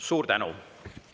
Suur tänu!